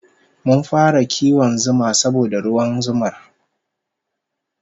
Mun fara kiwon zuma saboda ruwan zumar